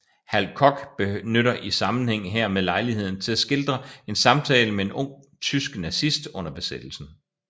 Hal Koch benytter i sammenhæng hermed lejligheden til at skildre en samtale med en ung tysk nazist under besættelsen